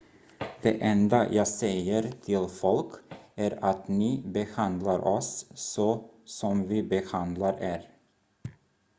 det enda jag säger till folk är att ni behandlar oss så som vi behandlar er